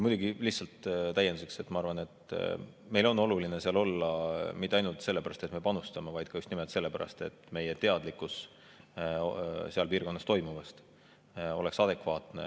Muidugi, lihtsalt täienduseks: ma arvan, et meil on oluline seal olla mitte ainult sellepärast, et me panustame, vaid ka just nimelt sellepärast, et meie teadlikkus seal piirkonnas toimuvast oleks adekvaatne.